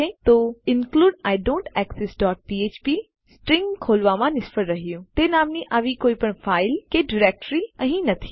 તો include I don't exist dot ફ્ફ્પ stream ખોલવામાં નિષ્ફળ રહ્યું તે નામની આવી કોઈપણ ફાઈલ કે ડાઈરેક્ઽરી અહીં નથી